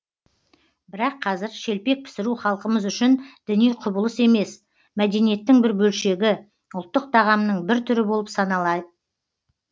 бірақ қазір шелпек пісіру халқымыз үшін діни құбылыс емес мәдениеттің бір бөлшегі ұлттық тағамның бір түрі болып саналай